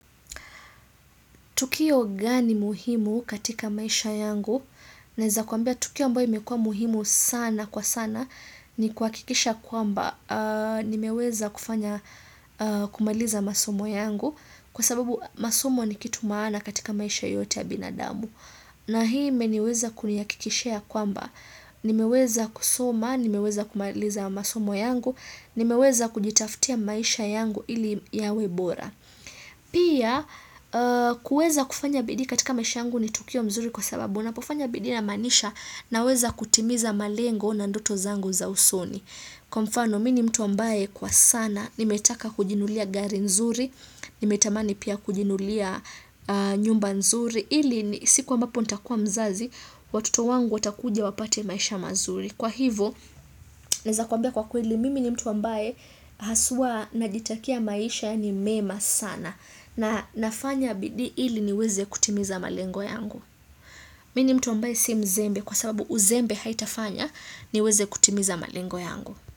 Tukio gani muhimu katika maisha yangu? Naeza kuambia tukio ambayo imekua muhimu sana kwa sana ni kuhakikisha kwamba nimeweza kufanya kumaliza masomo yangu kwa sababu masomo ni kitu maana katika maisha yote ya binadamu. Na hii imeniweza kunihakikishia kwamba nimeweza kusoma, nimeweza kumaliza masomo yangu, nimeweza kujitaftia maisha yangu ili yawe bora. Pia kueza kufanya bidii katika maisha yangu ni tukio mzuri kwa sababu Unapofanya bidii inamaanisha naweza kutimiza malengo na ndoto zangu za usoni Kwa mfano mimi ni mtu ambaye kwa sana nimetaka kujinunulia gari nzuri Nimetamani pia kujinunulia nyumba nzuri ili siku ambapo nitakuwa mzazi watoto wangu watakuja wapate maisha mazuri Kwa hivo naeza kuambia kwa kweli mimi ni mtu ambaye haswa najitakia maisha yaani mema sana na nafanya bidii ili niweze kutimiza malengo yangu. Mimi ni mtu ambaye si mzembe kwa sababu uzembe haitafanya niweze kutimiza malengo yangu.